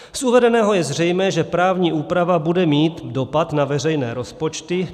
Z uvedeného je zřejmé, že právní úprava bude mít dopad na veřejné rozpočty.